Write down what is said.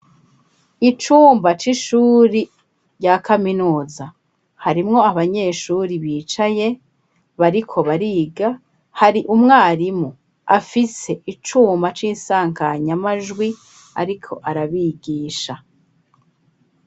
Icumba c'ishuri rya kaminuza harimwo abanyeshuri bicaye bariko bariga hari umwarimu afise icuma c'isanganyamajwi ariko arabigisha.